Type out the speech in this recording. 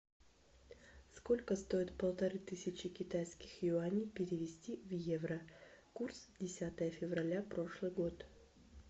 сколько стоит полторы тысячи китайских юаней перевести в евро курс десятое февраля прошлый год